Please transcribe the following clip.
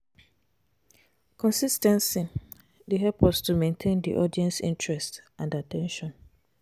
consis ten cy dey help us to maintain di audience's interest and at ten tion.